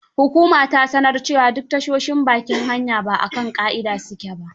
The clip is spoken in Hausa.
Hukuma ta sanar cewa duk tashoshin bakin hanya ba a kan ƙa'ida su ke ba.